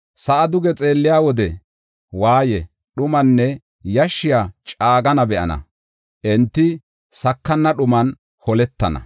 Sa7aa duge xeelliya wode waaye, dhumanne yashshiya caagana be7ana; enti sakana dhuman holetana.